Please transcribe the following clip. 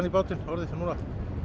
bátinn núna